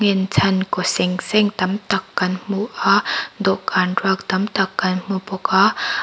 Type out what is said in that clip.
inchhan kaw seng seng tam tak kan hmu a dawhkan ruak tam tak kan hmu bawk a.